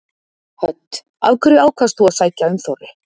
Hödd: Af hverju ákvaðst þú að sækja um Þorri?